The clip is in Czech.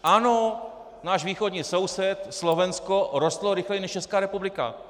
Ano, náš východní soused Slovensko rostl rychleji než Česká republika.